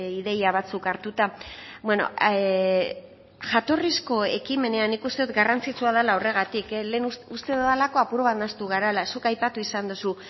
ideia batzuk hartuta jatorrizko ekimenean nik uste dut garrantzitsua dela horregatik uste dudalako apur bat nahastu garela zuk aipatu izan duzu